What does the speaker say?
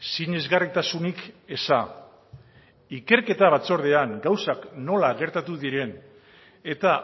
sinesgarritasunik eza ikerketa batzordean gauzak nola gertatu diren eta